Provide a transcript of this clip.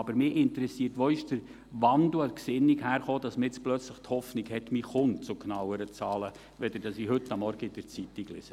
Aber mich interessiert, woher der Gesinnungswandel hergekommen ist, dass man jetzt plötzlich die Hoffnung hat, man komme zu genaueren Zahlen, als ich heute Morgen in der Zeitung gelesen habe.